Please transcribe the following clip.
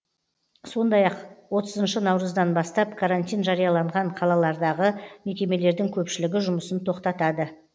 сондай ақ отызыншы наурыздан бастап карантин жарияланған қалалардағы мекемелердің көпшілігі жұмысын тоқтатады